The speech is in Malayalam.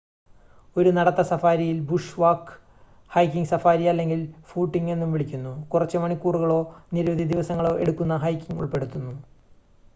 "ഒരു നടത്ത സഫാരിയിൽ "ബുഷ് വാക്ക്" "ഹൈക്കിംഗ് സഫാരി" അല്ലെങ്കിൽ "ഫൂട്ടിംഗ്" എന്നും വിളിക്കുന്നു കുറച്ച് മണിക്കൂറുകളോ നിരവധി ദിവസങ്ങളോ എടുക്കുന്ന ഹൈക്കിംഗ് ഉൾപ്പെടുന്നു.